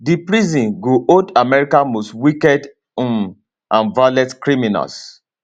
di prison go hold america most wicked um and violent criminals